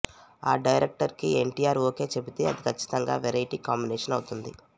ఆ డైరెక్టర్ కి ఎన్టీఆర్ ఓకే చెబితే అది కచ్చితంగా వెరయిటీ కాంబినేషన్ అవుతుంది